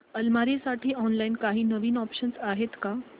अलमारी साठी ऑनलाइन काही नवीन ऑप्शन्स आहेत का